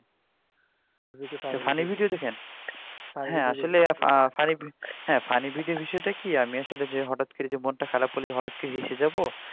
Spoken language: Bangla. সেটা কি আমি আসলে যে হটাৎ করে যে মনটা খারাপ হলে যে হটাৎ করে হেসে যাবো